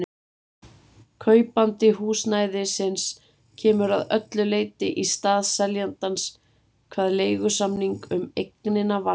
Kaupandi húsnæðisins kemur að öllu leyti í stað seljandans hvað leigusamning um eignina varðar.